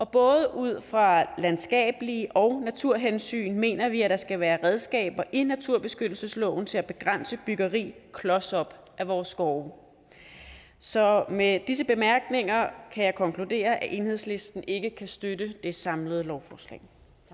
både ud fra landskabelige hensyn og naturhensyn mener vi at der skal være redskaber i naturbeskyttelsesloven til at begrænse byggeri klos op af vores skove så med disse bemærkninger kan jeg konkludere at enhedslisten ikke kan støtte det samlede lovforslag